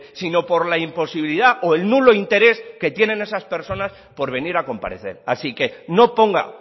sino por la imposibilidad o el nulo interés que tienen esas personas por venir a comparecer así que no ponga